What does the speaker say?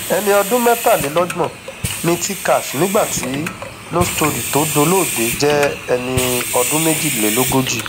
ẹni ọdún mẹtàlélọgbọn ni t cash nígbà tí no story tó dolóògbé jẹ ẹni ọdún méjìlélógójì